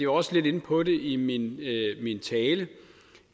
også lidt inde på det i min tale